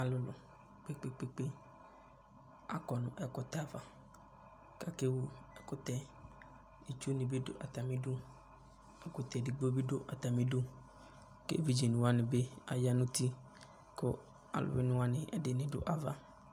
Alʋlʋ kpekpekpekpe akɔ n'ɛkʋtɛ ava, k'ake wu ɛkʋtɛɛ Itsunɩ bɩ dʋ atamidu , ɛkʋtɛ edigbo bɩ dʋ atamidu k'evidze wanɩ bɩ aya n'uti , kʋ alʋwɩnɩ wanɩ ɛdɩnɩ dʋ ava